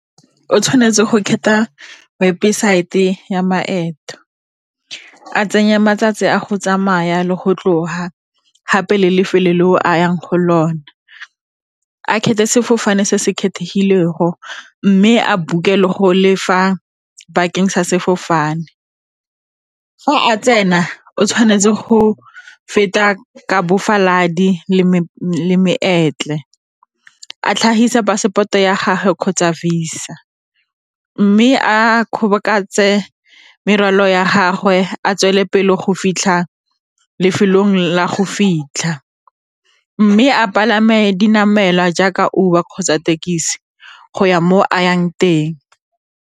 O tshwanetse go kgetha weboaete ya maeto a tsenya matsatsi a go tsamaya le go tloga gape le lefelo le o a yang go lona sefofane se se kgethegilego mme a book-e le go lefa bakeng sa sefofane. Fa a tsena o tshwanetse go feta balaodi le sentle a tlhagisa passport-o ya gagwe kgotsa Visa mme a kgobokantse le morwalo ya gagwe a go fitlha lefelong la go fitlha mme a palame dinamelwa jaaka Uber kgotsa thekisi go ya mo a yang teng.